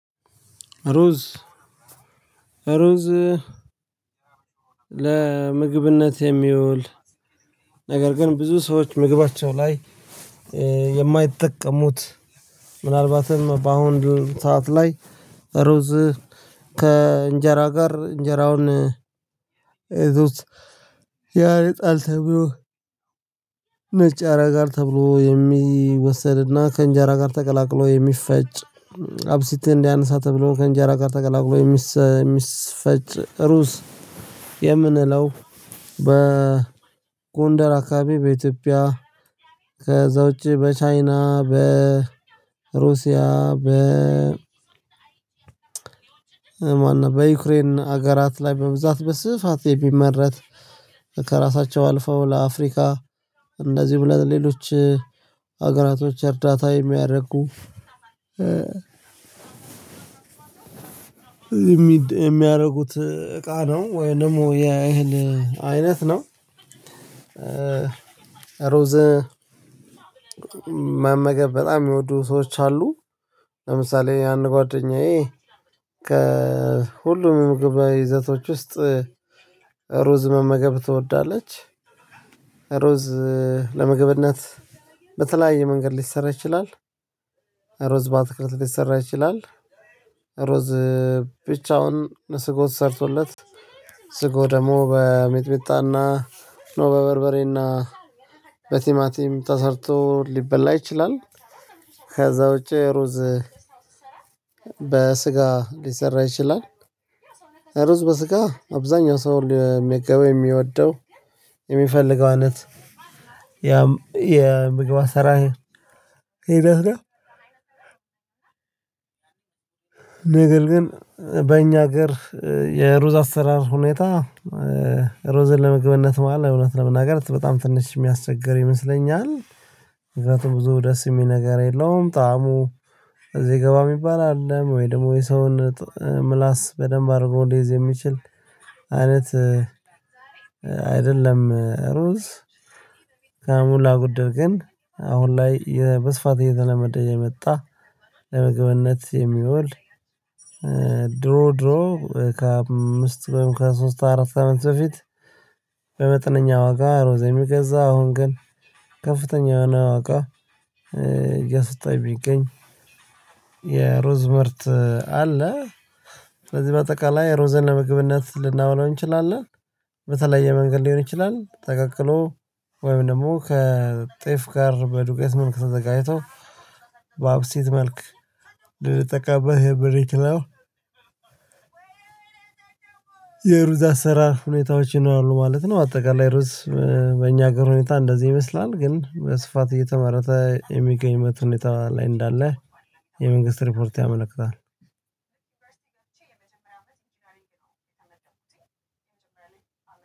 ሩዝ ሩዝ ለምግብነት የሚውል ነገር ግን ብዙ ሰዎች ምግባቸው ላይ የማይጠቀሙት በአሁን ሰዓት ላይ ሩዝ ከእንጀራ ጋር እንጀራውን ያረጣል ተብሎ ነጭ ያረጋል ተብሎ የሚወሰድና ከእንጀራ ጋር ተቀላቅሎ የሚፈጭ አብሲትን እንዲያነሳ ተብሎ ከእንጀራ ጋር ተቀላቅሎ የሚፈጭ ሩዝ የምንለው በጎንደር አካባቢ በኢትዮጵያ ከዛ ውጪ በቻይና በ ሩሲያ በ በዩክሬን ሀገራት ላይ በብዛት በስፋት የሚመረት ከራሳቸው አልፈው ለአፍሪካ እንደዚሁ ብለን ሌሎች ሀገራቶች እርዳታ የሚያደርጉ የሚያደርጉት እቃ ነው። ወይንም የእህል አይነት ነው። ሩዝ መመገብ በጣም የሚወዱ ሰዎች አሉ። ለምሳሌ ያን ጓደኛዬ ከሁሉም ምግብ ይዘቶች ውስጥ ሩዝ መመገብ ትወዳለች። ሩዝ ለመግብነት በተለያየ መንገድ ሊሰራ ይችላል። ሩዝ በአትክልት ሊሰራ ይችላል። ሩዝ ብቻውን ስጎ ተሰርቶለት ስጎ ደግሞ በሜጥሜጣና በ በበርበሬና በቲማቲም ተሰርቶ ሊበላ ይችላል። ከዛ ውጪ ሩዝ በስጋ ሊሰራ ይችላል። ሩዝ በስጋ አብዛኛው ሰው ሊመገበው የሚወደው የሚፈልገው አይነት የምግብ አሰራር ሂደት ነው። ነገር ግን በእኛ ሀገር የሩዝ አሰራር ሁኔታ ሩዝን ለምግበነት መሃል አይነት ለመናገር በጣም ትንሽ የሚያስቸግር ይመስለኛል። ምክንያቱም ብዙ ደስ የሚል ነገር የለውም ጣዕሙ እዚህ ግባ የሚባል አይደለም ወይ ደግሞ የሰውን ምላስ በደንብ አርጐ ሊይዝ የሚችል አይደለም። ሩዝ ከሞላ ጐድል ግን አሁን ላይ የመስፋት የተለመደ የመጣ ለመገበነት የሚወል። ድሮ ድሮ ከአምስት በምካሄድ ከሶስት አራት አመት በፊት። በመጠነኛ ዋጋ ሩዝ የሚገዛ አሁን ግን ከፍተኛ የሆነ አዋቃ እያሰጣች ቢገኝ። የሮዝ ምርት አለ። ስለዚህ በአጠቃላይ ሩዝን ለመግብነት ልናውለው እንችላለን። በተለየ መንገድ ሊሆን ይችላል ተቀቅሎ ወይም ደግሞ ከጤፍ ጋር በዱቄት መልክ ተዘጋጅቶ በአብሴት መልክ ልንጠቀምበት የምንችለው። የሩዛዝ አሰራር ሁኔታዎች ነው ማለት ነው። አጠቃላይ ሩዝ በኛ ሀገር ሁኔታ እንደዚህ ይመስላል። ግን በስፋት እየተመረተ የሚገኝ መቶ ሁኔታ ላይ እንዳለ የመንግስት ሪፖርት ያመለክታል።